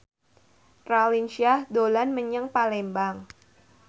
Raline Shah dolan menyang Palembang